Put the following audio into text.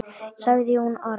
sagði Jón Arason.